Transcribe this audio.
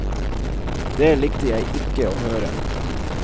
Det likte jeg ikke å høre.